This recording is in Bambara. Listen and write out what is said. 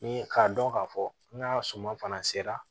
Ni k'a dɔn k'a fɔ n ka suma fana sera